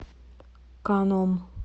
каном